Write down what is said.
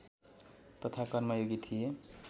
तथा कर्मयोगी थिए